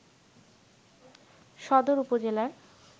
সদর উপজেলার